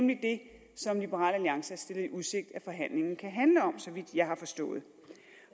det som liberal alliance har stillet i udsigt at forhandlingerne kan handle om så vidt jeg har forstået